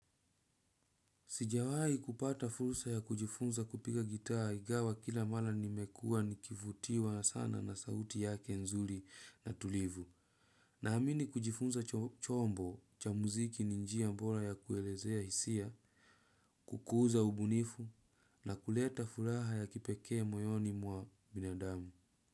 Sijawai kupata fursa ya kujifunza kupiga gitaa ingawa kila mara nimekuwa nikivutiwa sana na sauti yake nzuri na tulivu. Naamini kujifunza chombo cha muziki ni njia bora ya kuelezea hisia, kukuza ubunifu na kuleta furaha ya kipekee moyoni mwa binadamu.